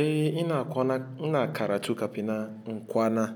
Eh ina kwana, ina karatu kafin na kwana,